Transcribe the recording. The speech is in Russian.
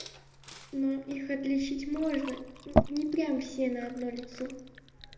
но их отличить можно не прям все на одно лицо